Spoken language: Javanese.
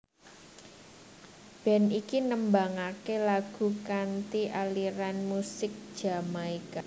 Band iki nembangaké lagu kanthi aliran musik Jamaika